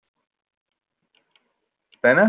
তাই না?